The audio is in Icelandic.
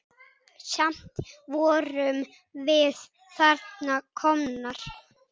Samt vorum við þarna komnar.